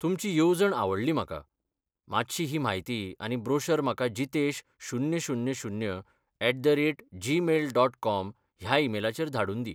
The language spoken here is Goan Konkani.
तुमची येवजण आवडली म्हाका, मात्शी ही म्हायती आनी ब्रोशर म्हाका जितेश शुन्य शुन्य शुन्य at the rate Gmail dot com ह्या ईमेलाचेर धाडून दी.